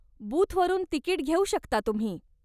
बूथवरून ticket घेऊ शकता तुम्ही.